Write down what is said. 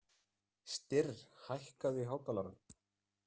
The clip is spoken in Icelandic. Styrr, hækkaðu í hátalaranum.